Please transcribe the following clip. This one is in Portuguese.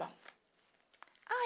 Bom. Aí